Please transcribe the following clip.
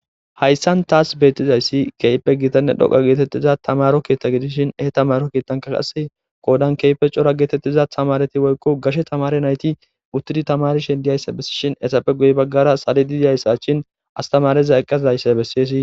Hayssan taas beettizayssi keype gitanne dhoqa geetettiza tamaro kiitta gidishin he tamaro kiittanka qase koodan keype cora geetettiza tamareti woykko gashe tamare nayti uttidi tamari shen diyayssa bessishin esappe guy baggara salidi ziyayssachin astamariza eqqasdayssa bessiyesi.